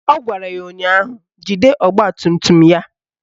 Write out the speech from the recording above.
Ọ gwara ya ụnyaahụ "Jide ọgbatumtum ya"!